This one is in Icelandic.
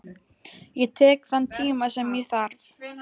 Ég tek þann tíma sem ég þarf.